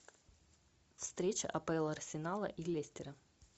встреча апл арсенала и лестера